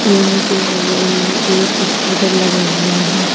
Room के बगल में एक स्कूटर लगा हुआ है।